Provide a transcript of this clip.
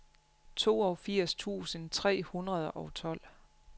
toogfirs tusind tre hundrede og tolv